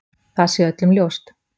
Það sé öllum ljóst.